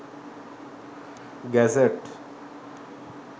gazette